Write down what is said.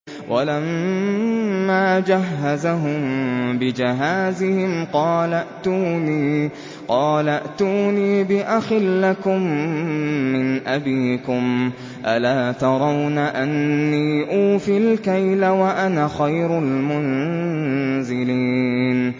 وَلَمَّا جَهَّزَهُم بِجَهَازِهِمْ قَالَ ائْتُونِي بِأَخٍ لَّكُم مِّنْ أَبِيكُمْ ۚ أَلَا تَرَوْنَ أَنِّي أُوفِي الْكَيْلَ وَأَنَا خَيْرُ الْمُنزِلِينَ